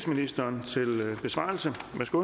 ministerens besvarelse